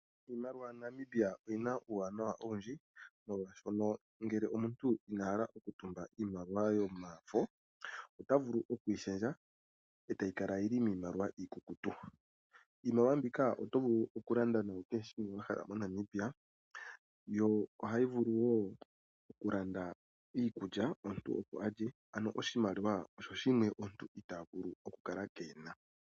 Iimaliwa yaNamibia, oyi na uuwanawa owundji molwashono ngele omuntu ina hala oku tumba iimaliwa yomafo ota vulu okuyi shendja etayi kala yili miimaliwa iikukutu. Iimaliwa mbika oto vulu oku landa nayo kehe shimwe wahala moNamibia yo ohayi vulu wo oku landa iikulya opo alye ano oshimaliwa osho shimwe omuntu ita vulu oku kala kena.